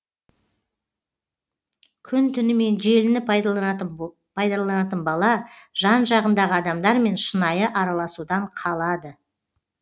күн түнімен желіні пайдаланатын бала жан жағындағы адамдармен шынайы араласудан қалады